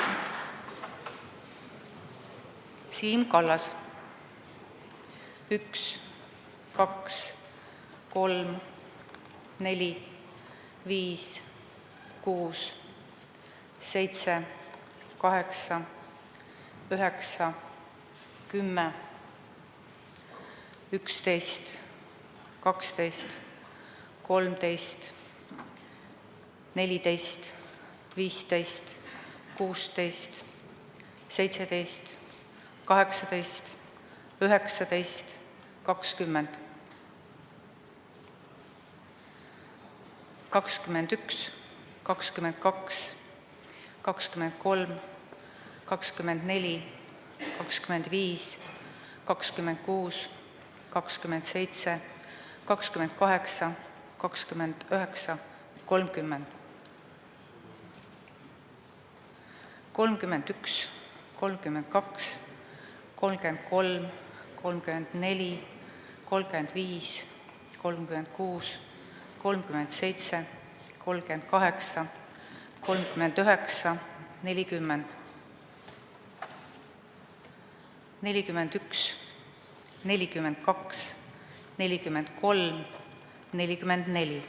Siim Kallas: 1, 2, 3, 4, 5, 6, 7, 8, 9, 10, 11, 12, 13, 14, 15, 16, 17, 18, 19, 20, 21, 22, 23, 24, 25, 26, 27, 28, 29, 30, 31, 32, 33, 34, 35, 36, 37, 38, 39, 40, 41, 42, 43, 44.